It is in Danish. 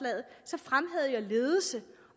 ledelse